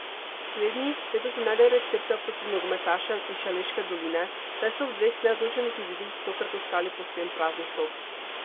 Slednji letos ne najdejo recepta proti nogometašem iz Šaleške doline, saj so ob dveh neodločenih izidih tokrat ostali povsem praznih rok.